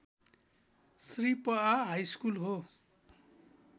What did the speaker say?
श्री पआ हाइस्कुल हो